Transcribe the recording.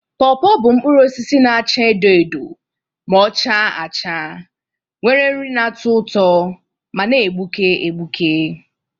Pọọpọ bụ mkpụrụ osisi na-acha edo edo ma ọ chaa acha, nwere nri na-atọ ụtọ ma na-egbuke egbuke.